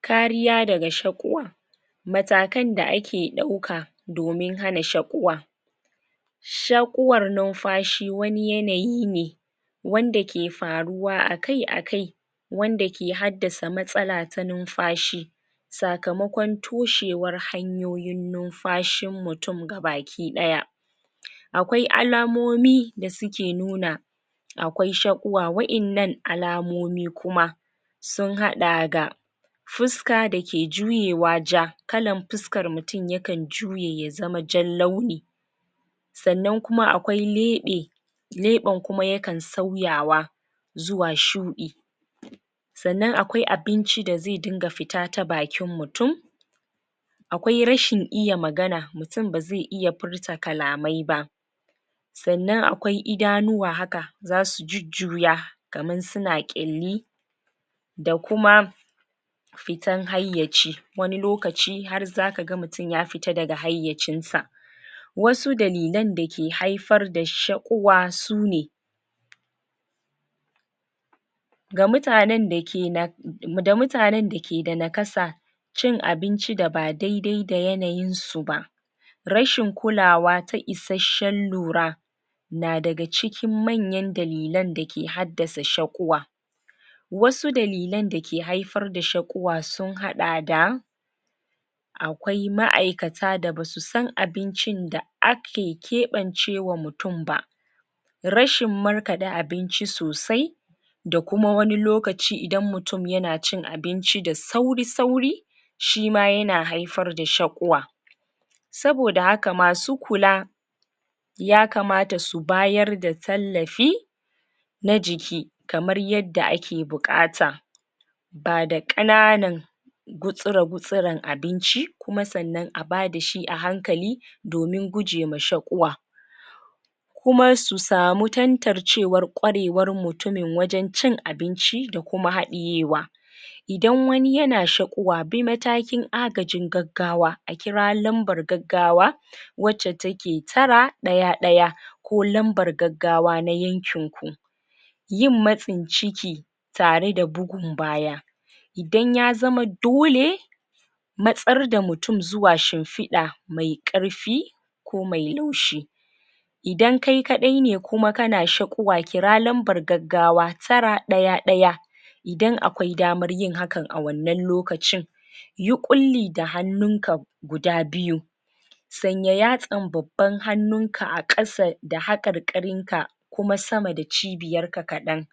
kariya daga shaƙuwa matakan da ake ɗauka domin hana shaƙuwa shaƙuwar numdashi ;wani yanayi ne wanda ke faruwa akai akai wanda ke haddasa matsala ta numfashi sakamakon toshewar hanyoyin numfashin mutun ga baki ɗaya akwai alamomi da suke nuna akwai shaƙuwa waƴannan alamomi kuma sun haɗa ga fuska dake juyewa ja kalan fus kar mutun yakan juye ya zama jan launi sannan kuma akwai leɓe leɓen kuma yakan sauyawa zuwa shu sanan akwai abinci da ze dinga fita ta bakin mutun akwai rashin iya magana, mutun baze iya furta kalamai ba sanan akwai idanuwa haka zasu jujjuya kaman suna kyalli da kuma fita hayyaci wani lokaci har zakaga mutun ya fita daga hayyacinsa wasu dalilan dake haifar da shaƙuwa sune ga mutanen dake na da mutanrn dake da nakasa cin abinci da ba dai dai da yanayinsu ba rashin kulawa ta isasshen lura na daga cikin manyan dalilan dake haddasa shaƙuwa wasu dalilan dake haifar da shaƙuwa su haɗa da akwai ma'ikata da basu san abincin da ake kaɓance wa mutun ba rashin markaɗe abinci sosai da kuma wani lokaci idan mutun yana cin abinci da sauri sauri shima yana haifar da shaƙuwa saboda haka masu kula yakamata su bayar da tallafi na jiki kamar yadda ake buƙata bada ƙananan gutsire gutsiren abinci kuma sannan abada shi a hankali domin guje ma shaƙuwa kuma su samu tantar cewar ƙwarewar mutumi wajan cin abinci da kuma haɗiyewan idan wani yana sha ɗuwa bi matakin agajin gag gawa akira lambar gaggawa wacce take tara ɗaya ɗaya ko lambar gagawa na yankin ku yin matsin ciki tare da bugun baya idan yazama dole matsar da mutun zuwa shimfiɗa mai ƙarfi ko mai laushi idan kai kaɗai ne kuma kana shaƙuwa kira lambar gag gawa tara ɗaya ɗaya idan akwai damar yin hakan awannan lokacin yi ƙulli da hannun ka guda biyu sanya yatsan babban hannunka aƙasa da haƙarƙarin ka kuma sama da cibiyar ka kaɗan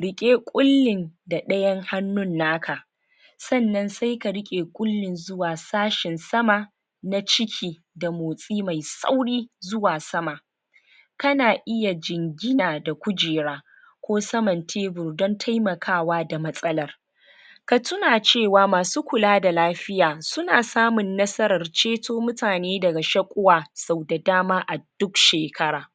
riƙe kullin da ɗayan hannun naka sanan sai ka r[ƙe ƙullin zuwa sashin sama na ciki da motsi mai sauri zuwa sama kana iya jingina da kujera ko saman tebur don temakawa da matsalar ka tuna cewa masu kula da lafiya suna samun nasarar ceto mutane daga shaƙuwa sau da dama a duk shekara